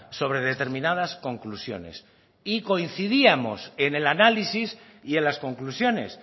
sobre determinadas conclusiones y coincidíamos en el análisis y en las conclusiones